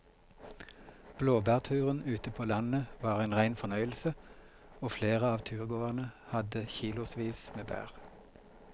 Blåbærturen ute på landet var en rein fornøyelse og flere av turgåerene hadde kilosvis med bær.